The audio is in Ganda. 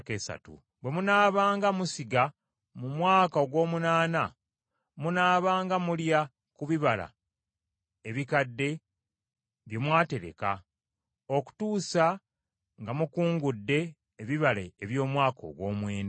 Bwe munaabanga musiga mu mwaka ogw’omunaana, munaabanga mulya ku bibala ebikadde bye mwatereka, okutuusa nga mukungudde ebibala eby’omwaka ogw’omwenda.